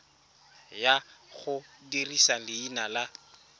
ya go dirisa leina la